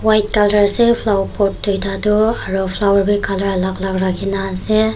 white colour ase flower pot dui ta tu aru flower be colour alag alag rakhi na ase.